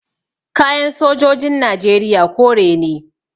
Kayan sojojin najeriya kore ne